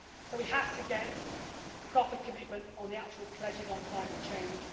So we have to get a proper commitment on the actual pledges on climate change.